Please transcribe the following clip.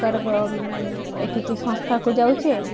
ସରକାରଙ୍କ ଏଠିକି ସଂସ୍ଥାକୁ ଯାଉଛି